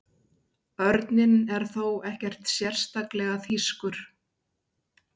Örninn er þó ekki sérstaklega þýskur.